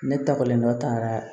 Ne ta kɔlen dɔ ta yɛrɛ